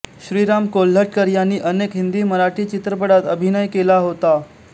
श्रीराम कोल्हटकर यांनी अनेक हिंदी मराठी चित्रपटात अभिनय केला होता